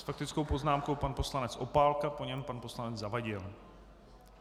S faktickou poznámkou pan poslanec Opálka, po něm pan poslanec Zavadil.